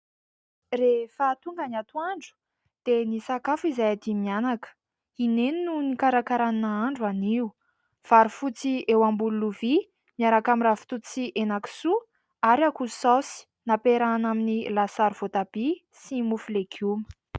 Rehefa tonga ny atoandro dia nisakafo izahay dimy mianaka. I neny no nikarakara ny nahandro anio. Vary fotsy eo ambony lovia miaraka amin'ny ravitoto sy hena kisoa ary akoho saosy nampiarahana amin'ny lasary voatabia sy mofo legioma.